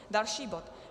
Další bod.